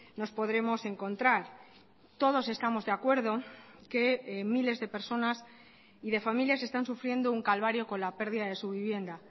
nos podremos encontrar todos estamos de acuerdo que miles de personas y de familias están sufriendo un calvario con la pérdida de su vivienda